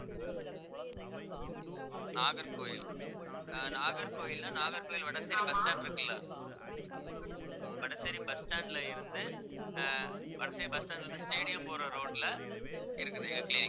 நாகர்கோவில் ஆஹ் நாகர்கோவில்னா Nagercoil Vadasery bus stand இருக்குல்ல வடசேரி bus stand ல இருந்து ஆஹ் வடசேரி bus stand ல இருந்து stadium போற road ல இருக்குது எங்க clinic